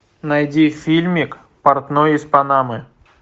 найди фильмик портной из панамы